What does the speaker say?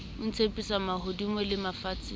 o ntshepisa mahodimo le mafatshe